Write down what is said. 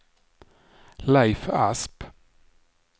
Leif Asp